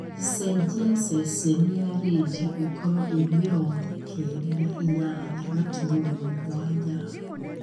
cenjia ceceni ya rĩndiũ ĩkorwo ĩ mĩrongo kenda na inyanya gaturumo mũgwanja